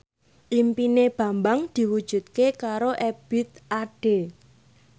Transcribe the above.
impine Bambang diwujudke karo Ebith Ade